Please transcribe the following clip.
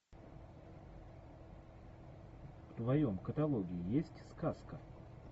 в твоем каталоге есть сказка